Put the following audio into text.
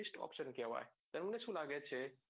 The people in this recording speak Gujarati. best option કેવાય તમને શું લાગે છે?